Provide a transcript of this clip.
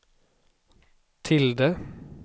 tilde